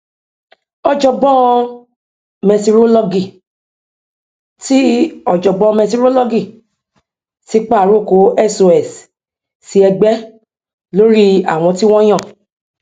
ọjọgbọn mẹtirolọgì ti ọjọgbọn mẹtirolọgì ti pa àrokò sos sí ẹgbẹ lórí àwọn tí wọn yàn